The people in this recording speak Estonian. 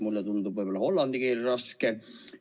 Mulle tundub hollandi keel raskem.